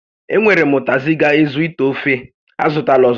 E nwèrè m ụtazị ga-ezu íté ofe, a zụtala ọzọ